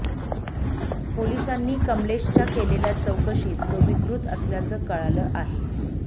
पोलिसांनी कमलेशच्या केलेल्या चौकशीत तो विकृत असल्याचं कळालं आहे